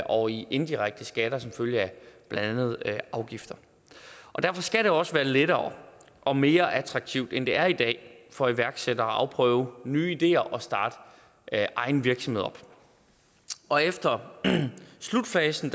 og i indirekte skatter som følge af blandt andet afgifter derfor skal det også være lettere og mere attraktivt end det er i dag for iværksættere at afprøve nye ideer og starte egen virksomhed op efter slutfasen